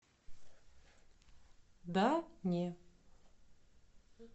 да не